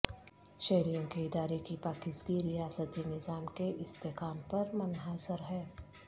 شہریوں کے ارادے کی پاکیزگی ریاستی نظام کے استحکام پر منحصر ہے